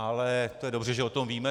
Ale to je dobře, že o tom víme.